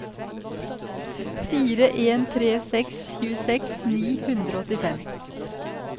fire en tre seks tjueseks ni hundre og åttifem